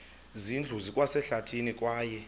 zindlu zikwasehlathini kwaye